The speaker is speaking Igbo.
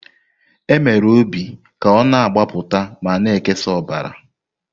E mere obi ka ọ na-agbapụta ma na-ekesa ọbara.